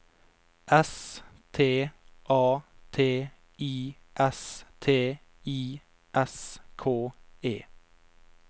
S T A T I S T I S K E